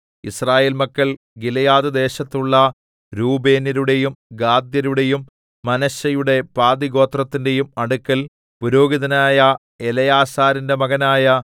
യിസ്രായേൽ മക്കൾ ഗിലെയാദ്‌ദേശത്തുള്ള രൂബേന്യരുടെയും ഗാദ്യരുടെയും മനശ്ശെയുടെ പാതിഗോത്രത്തിന്റെയും അടുക്കൽ പുരോഹിതനായ എലെയാസാരിന്റെ മകനായ